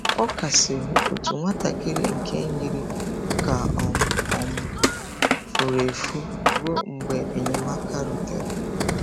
Ọ kasiri otu nwatakịrị nke yiri ka ọ um um furu efu ruo mgbe enyemaka rutere.